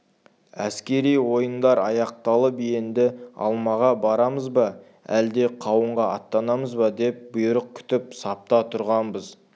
әскери ойындар аяқталып енді алмаға барамыз ба әлде қауынға аттанамыз ба деп бұйрық күтіп сапта тұрғанбыз